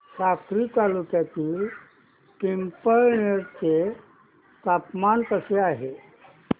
साक्री तालुक्यातील पिंपळनेर चे तापमान कसे आहे